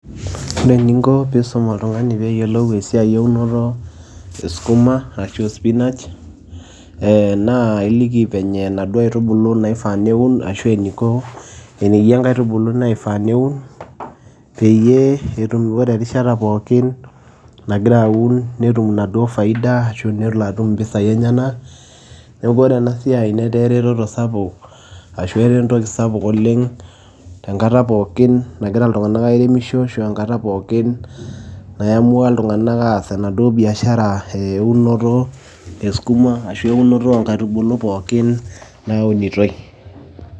Ore eninko piisum oltung'ani peeyolou esiai eunoto e skuma arashu e spinach ee naa iliki venye naduo aitubulu naifaa neun ashu eniko eneyia nkaitubulu naifaa neun peyie etum ore erishata pookin nagira aun netum naduo faida ashu nelo atum mpisai enyenak. Neeku ore ena siai netaa ereteto sapuk ashu etaa entoki sapuk oleng' tenkata pookin nagira iltung'anak airemisho enkata pookin naiamua iltung'anak aas enaduo biashara eunoto e skuma ashu eunoto o nkaitubulu pookin naunitoi.